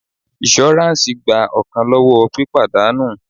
Iṣuransi gba ọkan lọwọ́ pípadà nù.